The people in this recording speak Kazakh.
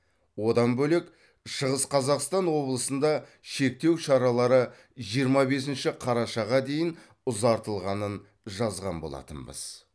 одан бөлек шығыс қазақстан облысында шектеу шаралары жиырма бесінші қарашаға дейін ұзартылғанын жазған болатынбыз